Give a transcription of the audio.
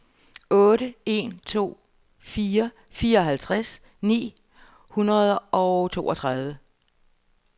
otte en to fire fireoghalvtreds ni hundrede og toogtredive